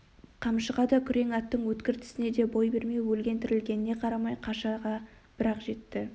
қамшыға да күрең аттың өткір тісіне де бой бермей өлген-тірілгеніне карамай қашаға бір-ақ жетті